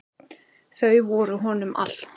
Þau voru honum allt.